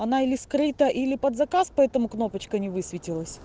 она или скрыта или под заказ поэтому кнопочка не высветилась